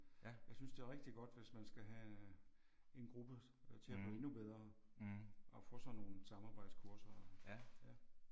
Jeg synes det er rigtig godt hvis man skal have en gruppe til at blive endnu bedre og få sådan nogle samarbejdskurser og ja